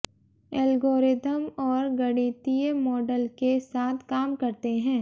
algorithm और गणितीय model के साथ काम करते हैं